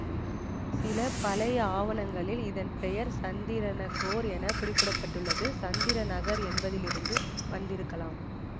சில பழைய ஆவணங்களில் இதன் பெயர் சந்தர்நகோர் என குறிப்பிட பட்டுள்ளது சந்திர நகர் என்பதிலிருந்து வந்திருக்கலாம்